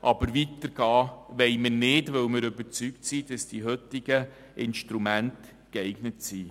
Aber weiter wollen wir nicht gehen, weil wir überzeugt sind, dass die heutigen Instrumente geeignet sind.